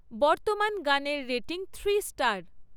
বর্তমান গানের rating three star